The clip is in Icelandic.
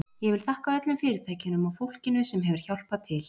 Ég vil þakka öllum fyrirtækjunum og fólkinu sem hefur hjálpað til.